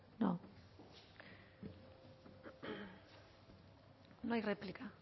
no